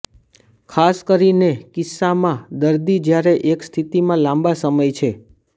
ખાસ કરીને કિસ્સામાં દર્દી જ્યારે એક સ્થિતિમાં લાંબા સમય છે